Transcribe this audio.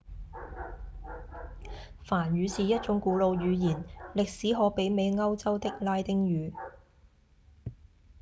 梵語是一種古老語言歷史可媲美歐洲的拉丁語